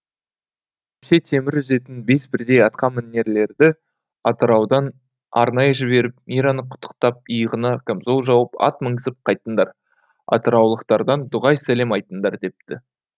тепсе темір үзетін бес бірдей атқамінерлерді атыраудан арнайы жіберіп мираны құттықтап иығына камзол жауып ат мінгізіп қайтыңдар атыраулықтардан дұғай сәлем айтыңдар депті